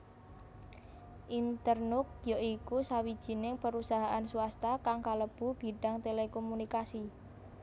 Internux ya iku sawijining perusahaan swasta kang kalebu bidang telekomunikasi